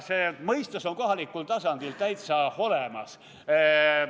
See mõistus on kohalikul tasandil täitsa olemas.